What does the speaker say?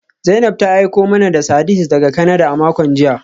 Zainab ta aiko mana da sardines daga Canada a makon jiya